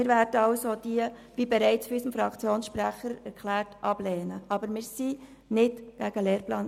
Wie bereits vom Fraktionssprecher erklärt worden ist, werden wir diesen Antrag ablehnen.